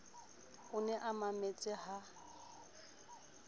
o ne a mametse ha